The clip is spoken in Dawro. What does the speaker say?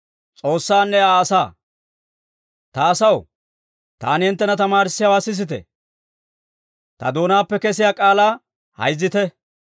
Ta asaw, taani hinttena tamaarissiyaawaa sisite; ta doonaappe kesiyaa k'aalaa hayzzite.